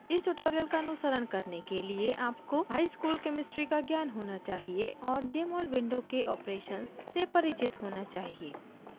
इस tutorial का अनुसरण करने के लिए आपको high school chemistry का ज्ञान होना चाहिए और jmol window के operations से परिचित होना चाहिए